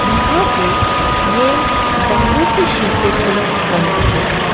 यहां पे ये बम्बू के सिको से बना हुआ है।